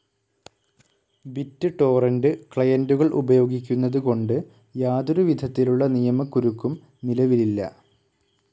Bit torrent ക്ലയൻ്റുകൾ ഉപയോഗിക്കുന്നത് കൊണ്ട് യാതൊരു വിധത്തിലുള്ള നിയമക്കുരുക്കും നിലവിലില്ല.